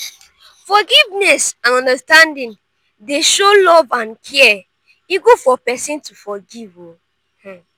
forgiveness and understanding dey show love and care e good for pesin to forgive o. um